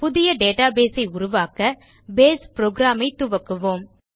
புதிய டேட்டாபேஸ் ஐ உருவாக்க பேஸ் புரோகிராம் ஐ துவக்குவோம்